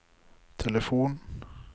telefon